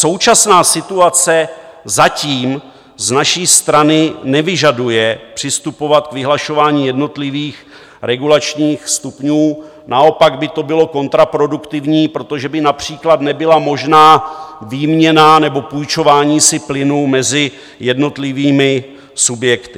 Současná situace zatím z naší strany nevyžaduje přistupovat k vyhlašování jednotlivých regulačních stupňů, naopak by to bylo kontraproduktivní, protože by například nebyla možná výměna nebo půjčování si plynu mezi jednotlivými subjekty.